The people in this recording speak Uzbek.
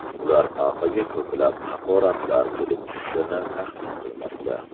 Ular papaga ko‘plab haqoratlar kelib tushishini taxmin qilmoqda.